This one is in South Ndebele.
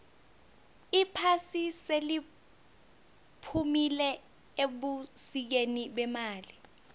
iphasi seliphumile ebusikeni bemali